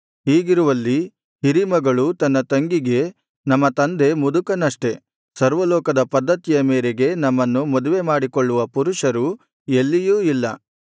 ಹೀಗಿರುವಲ್ಲಿ ಹಿರೀಮಗಳು ತನ್ನ ತಂಗಿಗೆ ನಮ್ಮ ತಂದೆ ಮುದುಕನಷ್ಟೆ ಸರ್ವಲೋಕದ ಪದ್ಧತಿಯ ಮೇರೆಗೆ ನಮ್ಮನ್ನು ಮದುವೆ ಮಾಡಿಕೊಳ್ಳುವ ಪುರುಷರು ಎಲ್ಲಿಯೂ ಇಲ್ಲ